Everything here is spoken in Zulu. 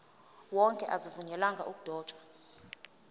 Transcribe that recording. wonke azivunyelwanga ukudotshwa